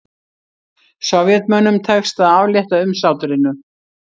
Sovétmönnum tekst að aflétta umsátrinu